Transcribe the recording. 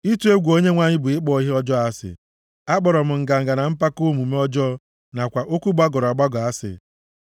Ịtụ egwu Onyenwe anyị bụ ịkpọ ihe ọjọọ asị. Akpọrọ m nganga na mpako, omume ọjọọ nakwa okwu gbagọrọ agbagọ asị.